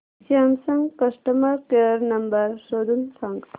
Samsung customer care number शोधून सांग